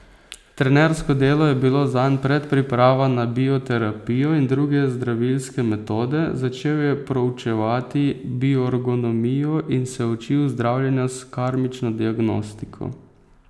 Trenersko delo je bilo zanj predpriprava na bioterapijo in druge zdravilske metode, začel je proučevati biorgonomijo in se učil zdravljenja s karmično diagnostiko.